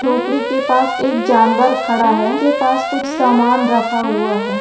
झोपडी के पास एक जानवर खड़ा है के पास कुछ सामान रखा हुआ है।